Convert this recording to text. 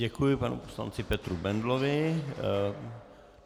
Děkuji panu poslanci Petru Bendlovi.